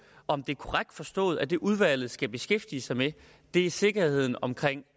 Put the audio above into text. om det er korrekt forstået at det udvalget skal beskæftige sig med er sikkerheden omkring